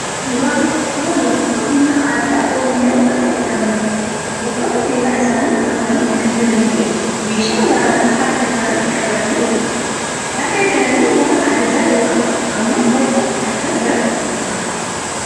Suuraan kun suuraa loltoota humna addaa Oromiyaa warra jedhamanidha. Uffata seeraa isaanii uffatanii kan jiranii fi meeshaa waraanaa harka isaaniitti qabatanii jiru. Tarree galanii waan ajaja yookaan ammoo gorsa fudhachaa jiran fakkaatu.